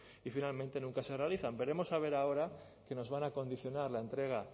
y finalmente nunca se realizan veremos a ver ahora que nos van a condicionar la entrega